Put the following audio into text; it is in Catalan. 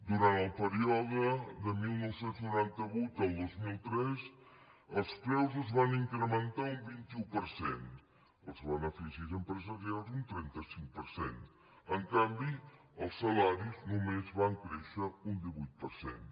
durant el període de dinou noranta vuit al dos mil tres els preus es van incrementar un vint un per cent els beneficis empresarials un trenta cinc per cent en canvi els salaris només van créixer un divuit per cent